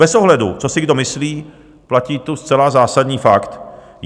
Bez ohledu, co si kdo myslí, platí tu zcela zásadní fakt.